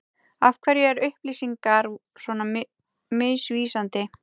Af hverju er upplýsingar svona misvísandi?